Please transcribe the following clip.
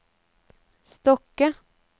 Stokke